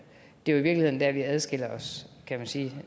det er i virkeligheden der vi samlet adskiller os kan man sige